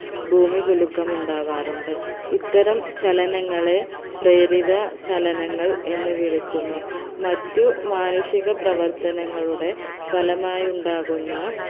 ഭൂമികുലുക്കം ഉണ്ടാവാറുണ്ട് ഇത്തരം ചലനങ്ങളെ പ്രേരിത ചലനങ്ങൾ എന്ന് വിളിക്കുന്നു മറ്റു മാനുഷിക പ്രവർത്തനങ്ങളുടെ ഫലമായി ഉണ്ടാകുന്ന